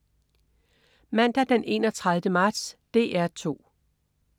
Mandag den 31. marts - DR 2: